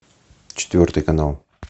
четвертый канал